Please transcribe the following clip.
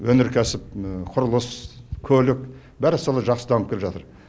өнеркәсіп құрылыс көлік бәрі солай жақсы дамып келе жатыр